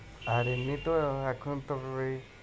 আর এমনিতেও এখন তবে ওই